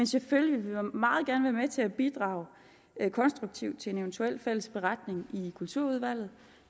selvfølgelig meget gerne være med til at bidrage konstruktivt til en eventuel fælles beretning i kulturudvalget